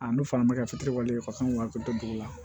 A ne fana bɛ ka fitiriwale ka kan wa dugu la